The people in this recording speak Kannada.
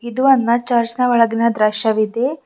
ಇದು ಒಂದ್ನ ಚರ್ಚ್ ನ ಒಳಗಿನ ದೃಶ್ಯವಿದೆ.